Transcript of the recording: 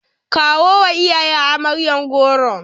Kawo wa iyayen amaryar goron.